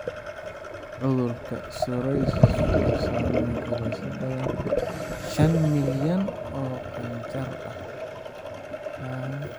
Cudurka psoriasis wuxuu saameeyaa in ka badan shaan milyan oo qaangaar ah.